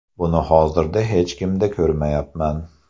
Buni hozirda hech kimda ko‘rmayapman.